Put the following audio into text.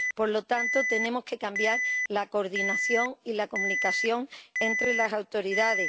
Por lo tanto, tenemos que cambiar la coordinación y la comunicación entre las autoridades.